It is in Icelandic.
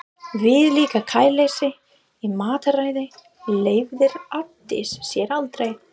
Viðlíka kæruleysi í mataræði leyfði Arndís sér aldrei.